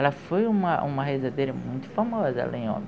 Ela foi uma, uma rezadeira muito famosa lá em Óbidos.